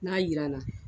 N'a jiranna